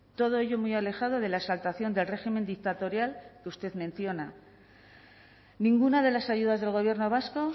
todo ello muy alejado de la exaltación del régimen dictatorial que usted menciona ninguna de las ayudas del gobierno vasco